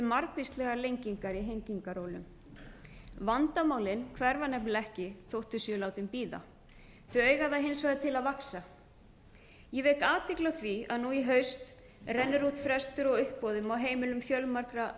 margvíslegar lengingar í hengingarólum vandamálin hverfa nefnilega ekki þótt þau séu látin bíða þau eiga það hins vegar til að vaxa ég vek athygli á því að nú í haust rennur út frestur á uppboðum á heimilum fjölmargra